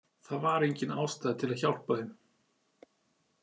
Það var engin ástæða til að hjálpa þeim.